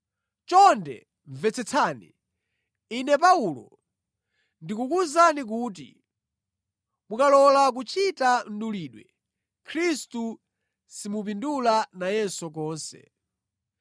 Chonde mvetsetsani! Ine Paulo, ndikukuwuzani kuti mukalola kuchita mdulidwe, Khristu simupindula nayenso konse.